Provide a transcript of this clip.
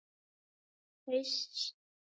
Sólveig hafði svo góða ímynd.